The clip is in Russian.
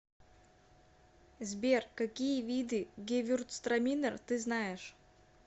сбер какие виды гевюрцтраминер ты знаешь